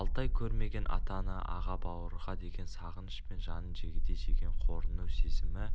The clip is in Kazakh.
алты ай көрмеген ата-ана аға-бауырға деген сағыныш пен жанын жегідей жеген қорыну сезімі